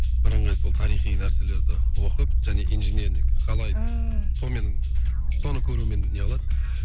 бірыңғай сол тарихи нәрселерді оқып және инженерлік қалай ааа солмен соны көрумен неғылады